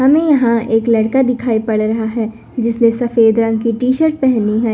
हमें यहां एक लड़का दिखाई पड़ रहा है जिसने सफेद रंग की टी शर्ट पेहनी है।